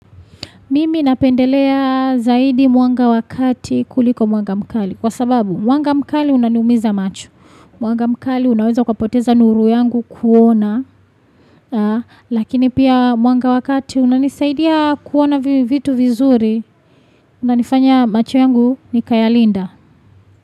Mimi napendelea zaidi mwanga wa kati kuliko mwanga mkali. Kwa sababu mwanga mkali unaniumiza macho. Mwanga mkali unaweza kwa poteza nuru yangu kuona. Lakini pia mwanga wakati unanisaidia kuona vitu vizuri. Unanifanya macho yangu ni kaya linda.